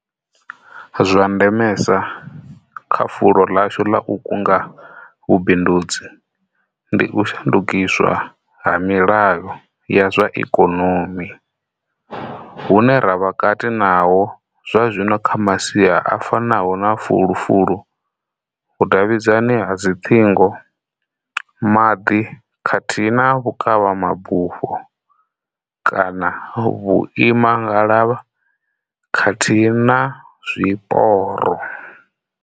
Zwa ndemesa kha fulo ḽashu ḽa u kunga vhubindudzi ndi u shandukiswa ha milayo ya zwa ikonomi hune ra vha kati naho zwazwino kha masia a fanaho na fulufulu, vhudavhidzani ha dziṱhingo, maḓi khathihi na vhukavha mabufho kana vhuimangalavha khathihi na zwiporo.